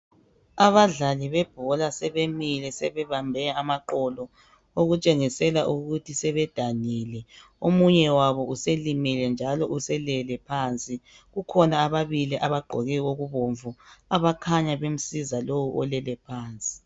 Abadlali bebhola sebemile sebebambe amaqolo okutshengisela ukuthi sebedanile omunye wabo uselimele njalo uselele phansi kukhona ababili abagqoke okubomvu abakhanya bemsiza lo olele phansi